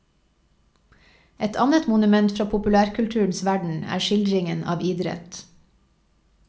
Et annet monument fra populærkulturens verden er skildringen av idrett.